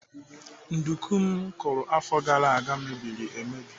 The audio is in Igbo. Nduku m kụrụ afọ gara aga mebiri emebi.